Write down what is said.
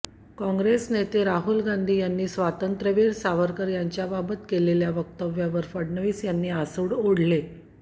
काँग्रेस नेते राहुल गांधी यांनी स्वातंत्र्यवीर सावरकर यांच्याबाबत केलेल्या वक्तव्यावर फडणवीस यांनी आसुड ओढले